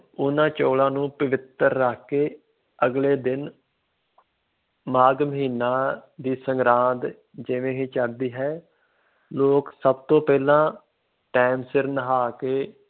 ਉਹਨਾਂ ਚੋਲਾਂ ਨੂੰ ਪਵਿੱਤਰ ਰੱਖ ਕੇ ਅਗਲੇ ਦਿਨ ਮਾਘ ਮਹੀਨਾ ਦੀ ਸੰਗਰਾਂਦ ਜਿਵੇਂ ਹੀ ਚੜ੍ਹਦੀ ਹੈ, ਲੋਕ ਸਭ ਤੋਂ ਪਹਿਲਾਂ time ਸਿਰ ਨਹਾ ਕੇ